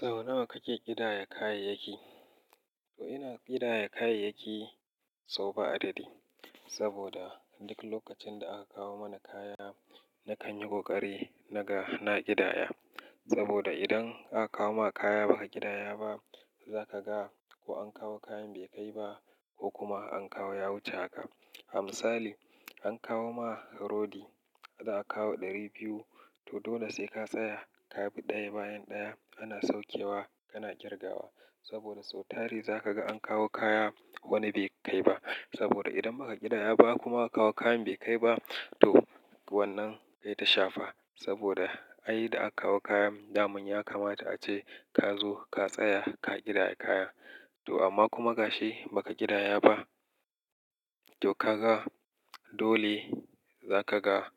Sau nawa kake ƙidaya kayayyaki? To ina ƙidaya kayayyaki sau ba adadi, saboda duk lokacin da aka kawo mana kaya, na kan yi ƙoƙari na ga, na ƙidaya. Saboda idan aka kawo ma kaya ba ka ƙidaya ba, za ka ga ko an kawo kayan bai kai ba ko kuma an kawo ya wuce haka. A misali, an kawo ma rodi, za a kawo ɗari biyu, to dole sai ka tsaya, ka bi ɗaya bayan ɗaya ana saukewa kana ƙirgawa. Saboda sau tare za ka ga an kawo kaya wani bai kai ba. Saboda idan ba ka ƙidaya ba kuma aka kawo kayan bai kai ba, to wannan kai ta shafa. Saboda ai da aka kawo kayan, daman ya kamata ace ka zo ka tsaya ka ƙidaya kaya. To amma kuma ga shi ba ka ƙidaya ba, to ka ga dole za ka ga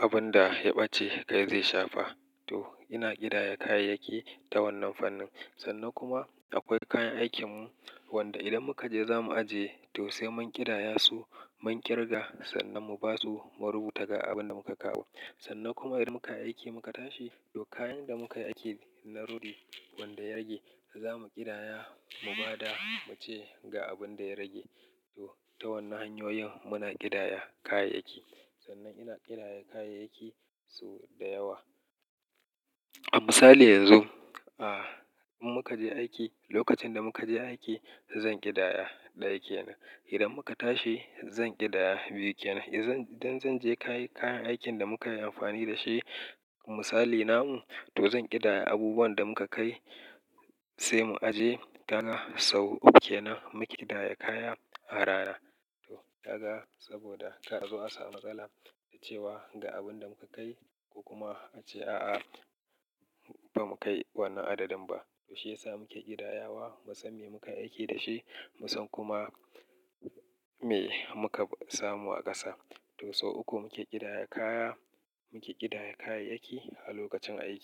abin da ya ɓace kai zai shafa. To ina ƙidaya kayayyaki ta wannan fannin. Sannan kuma akwai kayan aikinmu wanda idan muka je za mu aje, to sai mun ƙidaya su mun kirga sannan mu basu mu rubuta ga abin da muka kawo. Sannan kuma idan muka yi aiki muka tashi, to kayan da muka yi aiki na rodi wanda ya rage za mu ƙidaya mu ba da muce ga abin da ya rage. To ta wannan hanyoyin muna ƙidaya kayayyaki. Sannan ina ƙidaya kayayyaki sau da yawa. A misali yanzu, ah in muka je aiki, lokacin da muka je aiki zan ƙidaya ɗaya kenan. Idan muka tashi zan ƙidaya biyu kenan. Idan, idan zan je kai kayan aikin da muka yi amfani da shi misali namu, to zan ƙidaya abubuwan da muka kai sai mu aje kaga sau uku kenan muke ƙidaya kaya a rana. To ka ga saboda kar a zo a samu matsala da cewa ga abin da muka kai ko kuma ace a'a ba mu kai wannan adadin ba. To shi ya sa muke ƙidayawa, mu san me muka yi aiki da shi, mu san kuma me muka samu a ƙasa. To sau uku muke ƙidaya kaya, muke ƙidaya kayayyaki a lokacin aiki.